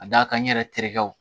Ka d'a kan n yɛrɛ terikɛw